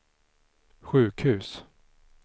sjukhus